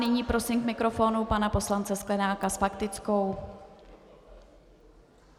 Nyní prosím k mikrofonu pana poslance Sklenáka s faktickou.